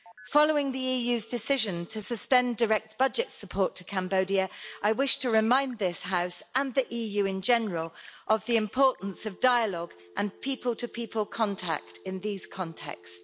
Following the EU's decision to suspend direct budget support to Cambodia, I wish to remind this House, and the EU in general, of the importance of dialogue and people-to-people contact in these contexts.